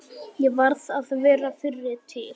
Ég varð að vera fyrri til.